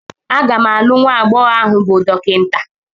A ga m alụ nwa agbọghọ ahụ bụ Dọkịta.